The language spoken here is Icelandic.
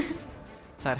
það er